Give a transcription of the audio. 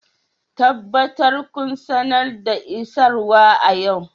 Tabbatar kun sanar da isarwa a yau